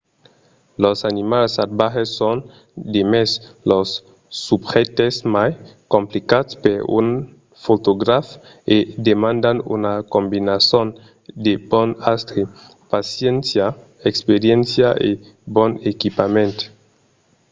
los animals salvatges son demest los subjèctes mai complicats per un fotograf e demandan una combinason de bon astre paciéncia experiéncia e bon equipament